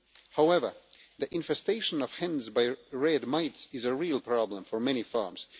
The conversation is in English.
However, the infestation of hens by red mites is a real problem for many farms.